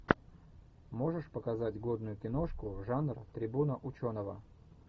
можешь показать годную киношку жанр трибуна ученого